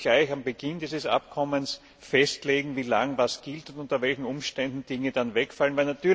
Man muss gleich am Beginn dieses Abkommens festlegen, wie lange etwas gilt und unter welchen Umständen Regelungen dann wegfallen.